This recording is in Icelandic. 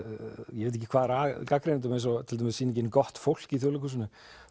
ég veit ekki hvað er að gagnrýnendum eins og til dæmis sýningin gott fólk í Þjóðleikhúsinu